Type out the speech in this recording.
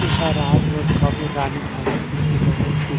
एहा राजनांदगांव मे रानी सागर के किनारे के स्थित--